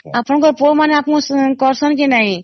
ଆପଣଙ୍କ ପୁଅ ମାନେ ଆପଣଙ୍କୁ କରିସେନ କି ନାଇଁ